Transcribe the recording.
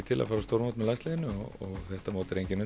til að fara á stórmót með landsliðinu og þetta mót er engin